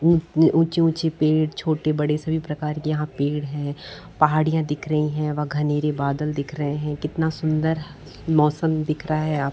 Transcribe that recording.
ऊँची - ऊँची पेड़ छोटे बड़े सभी प्रकार के यहाँ पेड़ हैं पहाड़ियाँ दिख रही है व घनेरे बादल दिख रहे है कितना सुंदर मौसम दिख रहा हैं आ --